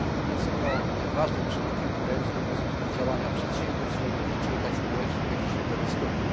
Jest ono ważnym czynnikiem wpływającym na pozytywne działania przedsiębiorstw w ich otoczeniu tak społecznym, jak i środowiskowym.